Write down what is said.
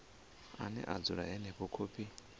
ane a dzula henefho khophi